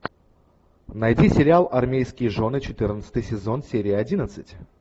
найди сериал армейские жены четырнадцатый сезон серия одиннадцать